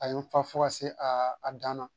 A ye n fa fo ka se a dan na